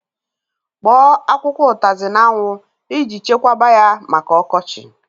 Kpọọ akwụkwọ utazi n'anwu e ji chekwaba ya maka okochi